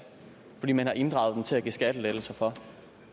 fordi man har inddraget den til at give skattelettelser for